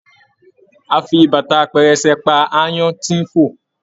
A fí bàtà pẹrẹsẹ pá aáyán tí n fo